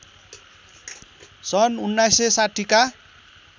सन् १९६० का